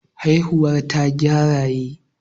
Haihuwar tagwaye yakan kai ga taruwar jama'a.